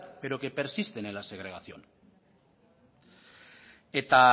pero que persisten en la segregación eta